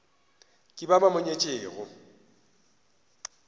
ke ba ba mo nyetšego